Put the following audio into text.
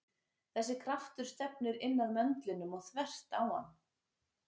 Þessi kraftur stefnir inn að möndlinum og þvert á hann.